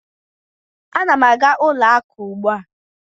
Ana m aga ụlọ akụ ugbu a.